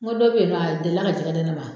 N ko dɔ bɛ ye nɔ, a deli ka jɛgɛ di ne ma.